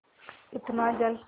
इतना जल